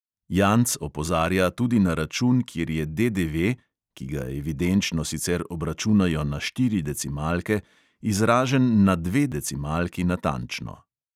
Janc opozarja tudi na račun, kjer je DDV (ki ga evidenčno sicer obračunajo na štiri decimalke) izražen na dve decimalki natančno.